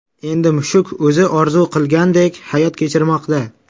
Endi mushuk o‘zi orzu qilgandek hayot kechirmoqda.